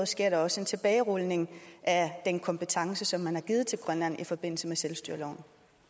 sker der også en tilbagerulning at den kompetence som man har givet til grønland i forbindelse med selvstyreloven